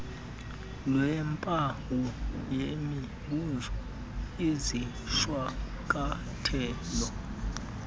lweempawu yemibuzo izishwankathelo